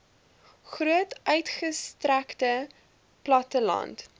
groot uitgestrekte platteland